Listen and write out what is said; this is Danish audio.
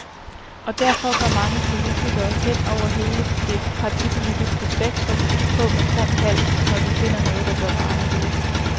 Og derfor går mange politikere, hen over hele det partipolitiske spektrum, på med krum hals, når de finder noget, der bør være anderledes.